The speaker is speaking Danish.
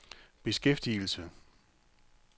beskæftigelse